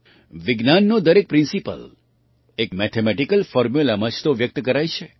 વિજ્ઞાનનો દરેક પ્રિન્સિપલ એક મેથેમેટિકલ ફૉર્મ્યુલામાં જ તો વ્યક્ત કરાય છે